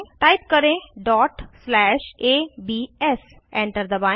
type करें dot slash ABS enter दबाएं